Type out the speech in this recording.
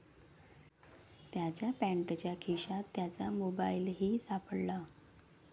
त्याच्या पॅन्टच्या खिशात त्याचा मोबाईलही सापडला.